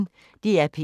DR P1